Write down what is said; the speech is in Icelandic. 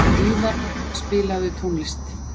Víðar, spilaðu tónlist.